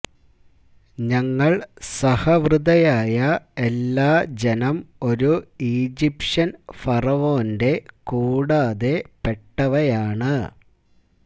ഞങ്ങൾ സഹവൃതയായ എല്ലാ ജനം ഒരു ഈജിപ്ഷ്യൻ ഫറവോന്റെ കൂടാതെ പെട്ടവയാണ്